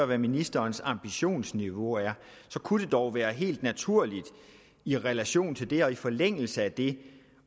hvad ministerens ambitionsniveau er så kunne det dog være helt naturligt i relation til det og i forlængelse af det